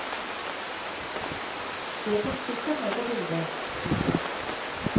Jeg kom sikkert med på bildet. punktum